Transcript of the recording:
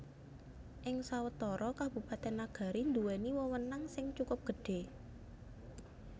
Ing sawetara Kabupatèn Nagari nduwèni wewenang sing cukup gedhé